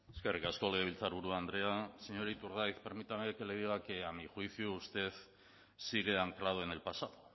eskerrik asko legebiltzarburu andrea señor iturgaiz permítame que le diga que a mi juicio usted sigue anclado en el pasado